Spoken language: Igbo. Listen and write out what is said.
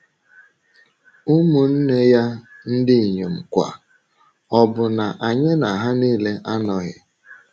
Ụmụnne ya ndị inyom kwa, ọ̀ bụ na anyị na ha nile anọghị? ”